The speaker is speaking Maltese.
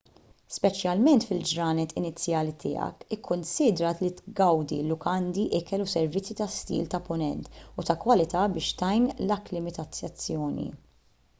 speċjalment fil-ġranet inizjali tiegħek ikkunsidra li tgawdi l-lukandi ikel u servizzi ta' stil tal-punent u ta' kwalità biex tgħin l-akklimatizzazzjoni